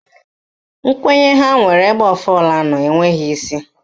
Nkwenye ha nwere ebe ọfala nọ enweghị isi